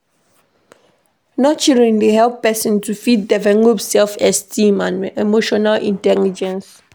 Nurturing dey help person to fit develop self-esteem and emotional intelligence